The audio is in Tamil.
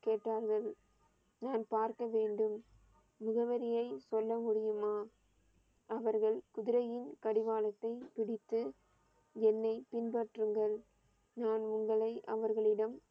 கேட்டார்கள் நான் பார்க்க வேண்டும் முகவரியை சொல்ல முடியுமா அவர்கள் குதிரையின் கடிவாளத்தை பிடித்து என்னை பின்பற்றுங்கள் நான் உங்களை அவர்களிடம்